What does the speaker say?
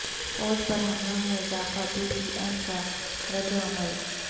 فوج پر حملوں میں اضافہ پی ٹی ایم کا ردعمل